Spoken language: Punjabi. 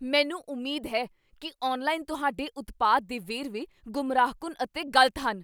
ਮੈਨੂੰ ਉਮੀਦ ਹੈ ਕੀ ਆਨਲਾਈਨ ਤੁਹਾਡੇ ਉਤਪਾਦ ਦੇ ਵੇਰਵੇ ਗੁੰਮਰਾਹਕੁੰਨ ਅਤੇ ਗ਼ਲਤ ਹਨ।